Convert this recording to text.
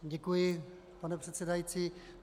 Děkuji, pane předsedající.